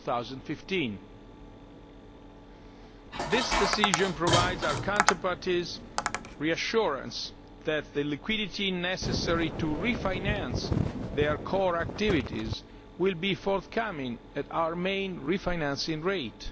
2015. This decision reassures our counterparties that the liquidity necessary to refinance their core activities will be forthcoming at our main refinancing rate.